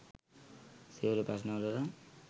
සියලු ප්‍රශ්ණවලටත්